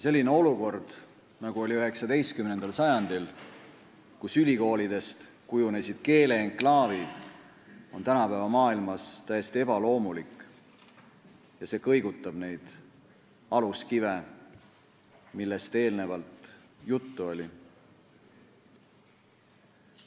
Selline olukord, nagu oli 19. sajandil, kus ülikoolidest kujunesid keele enklaavid, on tänapäeva maailmas täiesti ebaloomulik ja see kõigutab neid aluskive, millest eelnevalt juttu oli.